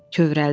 Kövrəldim.